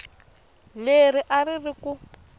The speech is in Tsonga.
leri a ri ri ku